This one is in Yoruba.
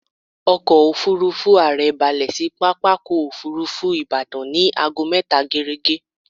Ọkọ̀-òfurufú ààrẹ balẹ̀ sí pápákọ̀-òfurufú Ìbàdàn ní aago mẹta géérégé.